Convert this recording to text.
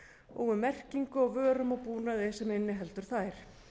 og um merkingu á vörum og búnaði sem inniheldur þær